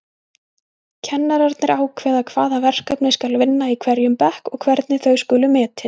Kennararnir ákveða hvaða verkefni skal vinna í hverjum bekk og hvernig þau skuli metin.